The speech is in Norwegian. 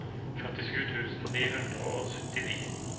førtisju tusen ni hundre og syttini